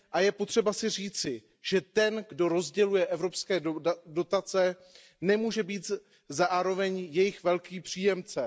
Je třeba si říci, že ten, kdo rozděluje evropské dotace, nemůže být zároveň jejich velkým příjemcem.